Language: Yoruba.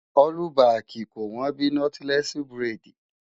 ọ́lúbaàkì kò wọ́n bíi Nọ́tílẹ́ẹ̀sì buredì.